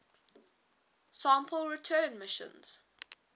sample return missions